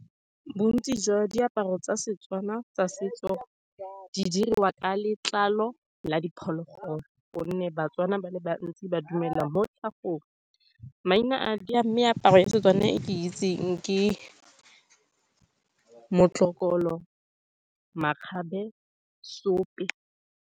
Bontsi jwa diaparo tsa Setswana tsa setso di diriwa ka letlalo la diphologolo, ka gonne Batswana ba le bantsi ba dumela mo tlhagong. Maina a meaparo ya Setswana e ke itseng ke motlokolo, makgabe, seope.